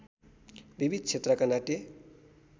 विविध क्षेत्रका नाट्य